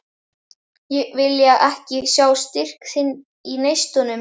Vilja ekki sjá styrk þinn í neistunum.